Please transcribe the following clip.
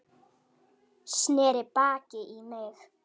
Sneri baki í mig.